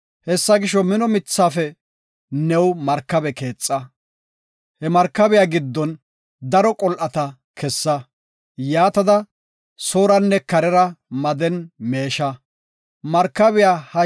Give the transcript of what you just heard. Hessa gisho, mino mithafe new markabe keexa. He markabiya giddon daro qol7ata kessa. Yaatada sooranne karera made melaban meesha. Nohe Markabiya